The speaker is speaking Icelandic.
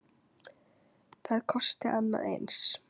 Það kosti annað eins.